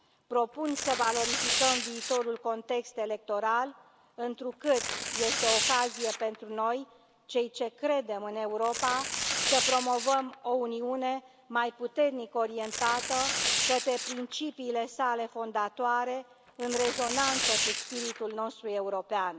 Propun să valorificăm viitorul context electoral, întrucât este o ocazie pentru noi, cei ce credem în Europa, să promovăm o Uniune mai puternic orientată către principiile sale fondatoare, în rezonanță cu spiritul nostru european.